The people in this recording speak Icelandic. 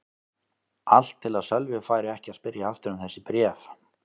Allt til að Sölvi færi ekki að spyrja aftur um þessi bréf.